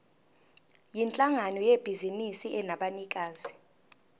yinhlangano yebhizinisi enabanikazi